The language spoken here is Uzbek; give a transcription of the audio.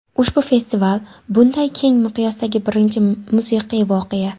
Ushbu festival – bunday keng miqyosdagi birinchi musiqiy voqea.